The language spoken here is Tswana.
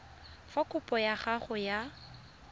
fa kopo ya gago ya